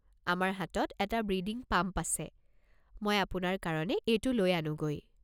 আমাৰ হাতত এটা ব্ৰিডিং পাম্প আছে, মই আপোনাৰ কাৰণে এইটো লৈ আনোগৈ।